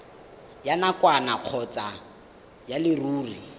ya nakwana kgotsa ya leruri